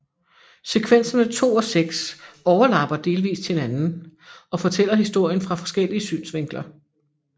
Sekvenserne 2 og 6 overlapper delvist hinanden og fortæller historien fra forskellige synsvinkler